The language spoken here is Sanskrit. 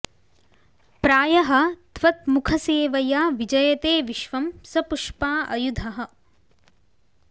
प्रायः त्वत् मुख सेवया विजयते विश्वम् स पुष्पा अयुधः